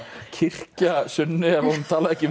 kyrkja Sunnu ef hún talaði ekki